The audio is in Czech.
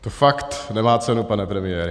To fakt nemá cenu, pane premiére.